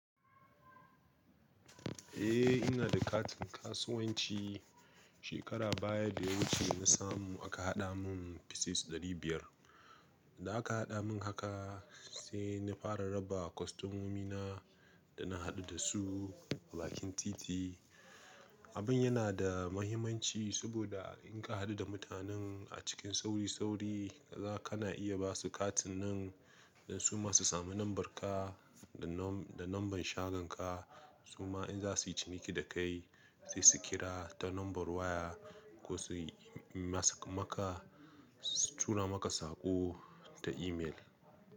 Eh ina da katin kasuwanci. Shekara baya da ya wuce na samu aka haɗa mun pieces ɗari biyar. Da aka haɗa mun haka sai na fara raba kwastamomi na da na haɗu da su a bakin titi. Abun yana da mahimmanci saboda in ka haɗu da mutanen a cikin sauri sauri, za kana iya basu katin nan don su ma su sami lambar ka da lambar shagon ka. Su ma in za su yi ciki da kai sai su kira ta lambar waya ko su yi ma maka, su tura maka saƙo ta email.